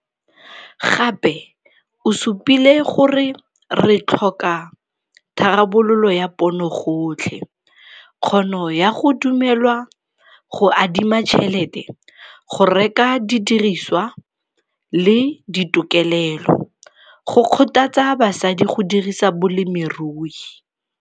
Gape o supile gore re tlhoka tharabololo ya ponogotlhe kgono ya go dumelwa go adima tšhelete, go reka didiriswa le ditokelelo go kgothatsa basadi go dirisa bolemirui.